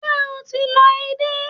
Ṣé o ti lọ edé?